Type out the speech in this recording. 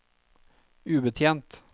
ubetjent